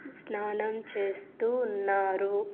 స్నానం చేస్తూ ఉన్నారు.